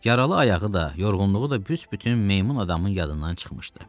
Yaralı ayağı da, yorğunluğu da büs-bütün meymun adamın yadından çıxmışdı.